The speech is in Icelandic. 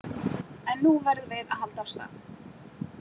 En nú verðum við að halda af stað